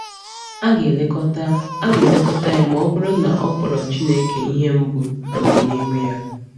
A ga-elekọta A ga-elekọta ya ma ọ bụrụ na ọ kpọrọ Chineke ihe mbụ n’ọdịnihu ya.